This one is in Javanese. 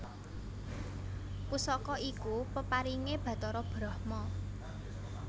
Pusaka iku peparingé Bathara Brahma